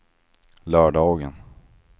lördagen